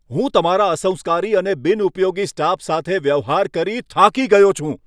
હું તમારા અસંસ્કારી અને બિનઉપયોગી સ્ટાફ સાથે વ્યવહાર કરી થાકી ગયો છું.